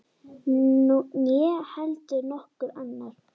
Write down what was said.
Né heldur nokkur annar.